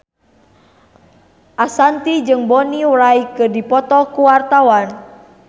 Ashanti jeung Bonnie Wright keur dipoto ku wartawan